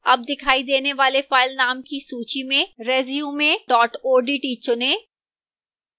अब दिखाई देने वाले फ़ाइलनाम की सूची में resume odt चुनें